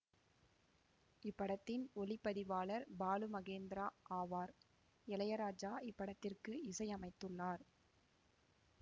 இப்படத்தின் ஒளி பதிவாளர் பாலு மகேந்திரா ஆவார் இளையராஜா இப்படத்திற்கு இசை அமைத்துள்ளார்